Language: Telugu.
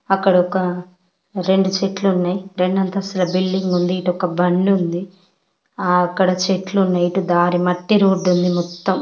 అక్కడ ఒక రెండు చెట్లు ఉన్నాయ్. రెండు అంతస్తుల బిల్డింగ్ ఉంది. ఇటు ఒక బండి ఉంది. ఆ అక్కడ చెట్లు ఉన్నాయి. ఇటు దారి మట్టి రోడ్డు ఉంది మొత్తం.